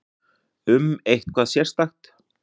Um eitthvað sérstakt?